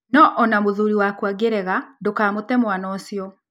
No o na mũthuri waku angĩrega, ndũkamũte mwana ũcio.